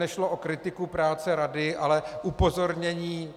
Nešlo o kritiku práce rady, ale upozornění.